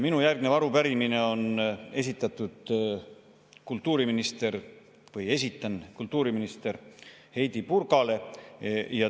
Minu järgnev arupärimine on kultuuriminister Heidy Purgale.